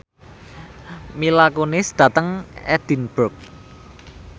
Mila Kunis lunga dhateng Edinburgh